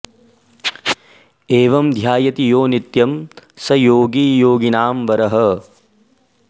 एवं॑ ध्या॒यति॑ यो नि॒त्यं॒ स॒ योगी॑ योगि॒नां व॑रः